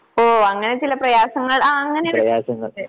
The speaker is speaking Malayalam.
ഓഹ് അങ്ങനെ ചില പ്രയാസങ്ങൾ ആഹ് അങ്ങനെ